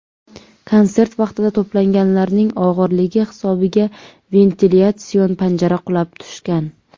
Konsert vaqtida to‘planganlarning og‘irligi hisobiga ventilyatsion panjara qulab tushgan.